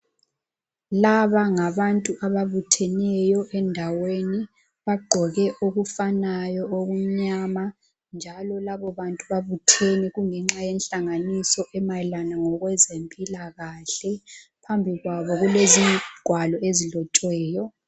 Laba angabantu ababutheneyo endaweni bagqoke okufanayo okumnyama ,njalo labo bantu babuthene kungenxa yenhlanganiso emayelana ngokwezempilakahle, phambi kwabo kulezingwalo ezilotshiweyo.